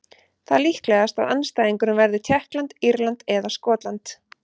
Það er líklegast að andstæðingurinn verði Tékkland, Írland eða Skotland.